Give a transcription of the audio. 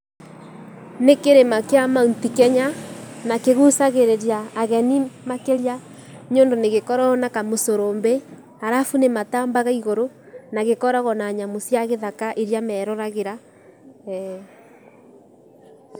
Nĩ kĩrĩma kĩa Mt Kenya na kĩgucagĩrĩria ageni makĩria nĩũndũ nĩgĩkoragwo na kamũcurũmbĩ, arabu nĩmatambaga igũrũ arabu nagĩkoragwo na nyamũ cia gĩthaka iria meroragĩra.